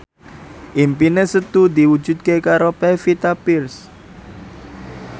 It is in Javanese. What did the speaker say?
impine Setu diwujudke karo Pevita Pearce